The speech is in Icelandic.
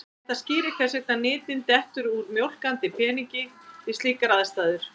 Þetta skýrir hvers vegna nytin dettur úr mjólkandi peningi við slíkar aðstæður.